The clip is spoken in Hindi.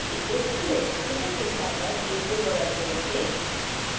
इसे खिसकाकर a के बगल में रखें